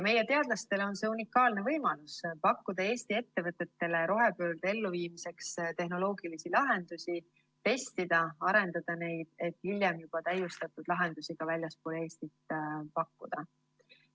Meie teadlastele on see unikaalne võimalus: pakkuda Eesti ettevõtetele rohepöörde elluviimiseks tehnoloogilisi lahendusi, testida ja arendada neid, et hiljem juba täiustatud lahendusi ka väljaspool Eestit pakkuda.